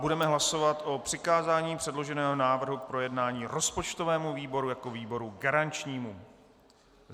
Budeme hlasovat o přikázání předloženého návrhu k projednání rozpočtovému výboru jako výboru garančnímu.